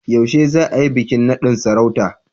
Yaushe za a yi bikin nadin sarauta?